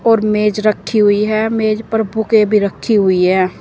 और मेज रखी हुई है मेज पर बुके भी रखी हुई है।